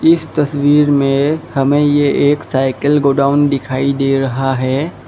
इस तस्वीर में हमें ये एक साइकिल गोडाउन दिखाई दे रहा है।